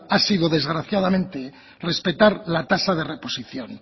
ha sido desgraciadamente respetar la tasa de reposición